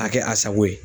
A kɛ a sago ye